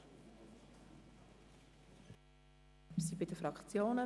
Wir sind bei den Fraktionen.